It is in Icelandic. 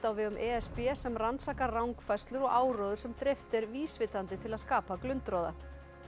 á vegum e s b sem rannsakar rangfærslur og áróður sem dreift er vísvitandi til að skapa glundroða